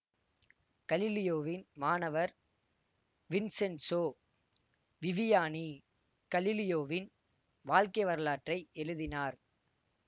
கலிலியோவின் மாணவர் Vincenzo Viviani கலிலியோவின் வாழ்க்கை வரலாற்றை எழுதினார்